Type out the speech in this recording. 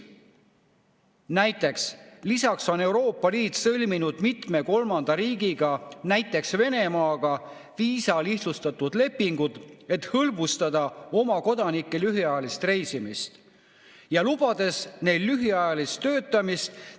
" Ja on lisatud, et Euroopa Liit on sõlminud mitme kolmanda riigiga, näiteks Venemaaga, viisalihtsustuslepingud, et hõlbustada kodanike lühiajalist reisimist ja lubades neil lühiajalist töötamist.